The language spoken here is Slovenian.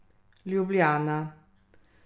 Ljubljana.